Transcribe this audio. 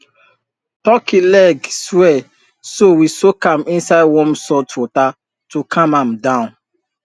turkey leg swell so we soak am inside warm salt water to calm am down